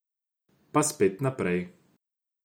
Pa spet naprej.